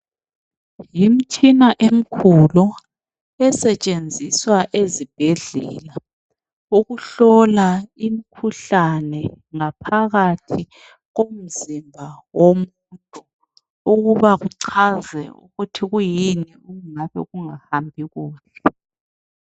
Yimtshina emkhulu esetshenziswa ezibhedlela ukuhlola imkhuhlane ngaphakathi komzimba womuntu ukuba kuchaze ukuthi kuyini okungabe kungahambi kuhle.